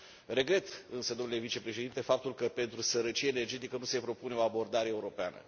Regret însă, domnule vicepreședinte, faptul că pentru sărăcie energetică nu se propune o abordare europeană.